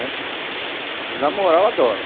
Né? E namorar, eu adoro.